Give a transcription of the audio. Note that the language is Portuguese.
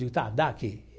Digo, tá, dá aqui.